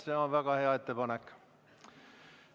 See on väga hea ettepanek.